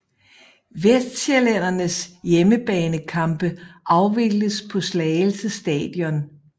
Vestsjællændernes hjemmebanekampe afvikles på Slagelse Stadion